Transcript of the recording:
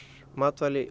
matvæli